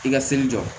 I ka seli jɔ